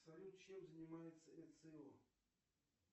салют чем занимается эцио